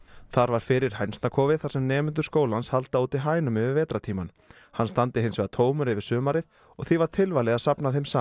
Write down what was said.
þar var fyrir þar sem nemendur skólans halda úti hænum yfir vetrartímann hann standi hins vegar tómur yfir sumarið og því var tilvalið að safna þeim saman